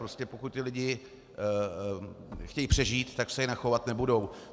Prostě pokud ti lidé chtějí přežít, tak se jinak chovat nebudou.